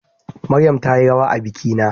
Maryam tayi rawa a bikina